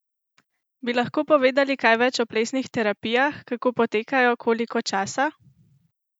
Bi lahko povedali kaj več o plesnih terapijah, kako potekajo, koliko časa?